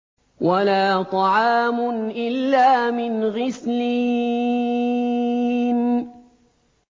وَلَا طَعَامٌ إِلَّا مِنْ غِسْلِينٍ